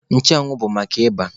Nchụanwụ bụ maka ịba.